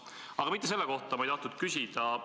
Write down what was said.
Aga mitte selle kohta ei tahtnud ma küsida.